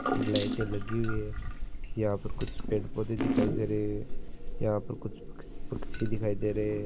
ये लाइटे लगी हुई है यहां पर कुछ पेड़ पौधे दिखाई दे रहे है यहां पर कुछ पक्ष पक्षी दिखाई दे रहे है।